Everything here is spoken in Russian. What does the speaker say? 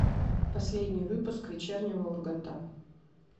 последний выпуск вечернего урганта